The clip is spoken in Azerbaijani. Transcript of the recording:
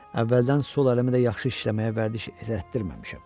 Əvvəldən sol əlimə də yaxşı işləməyə vərdiş elətdirməmişəm.